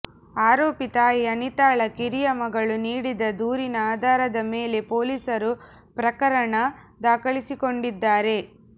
ಆರೋಪಿ ತಾಯಿ ಅನಿತಾಳ ಕಿರಿಯ ಮಗಳು ನೀಡಿದ ದೂರಿನ ಆಧಾರದ ಮೇಲೆ ಪೊಲೀಸರು ಪ್ರಕರಣ ದಾಖಲಿಸಿಕೊಂಡಿದ್ದಾರೆ